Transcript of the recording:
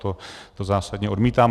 To zásadně odmítám.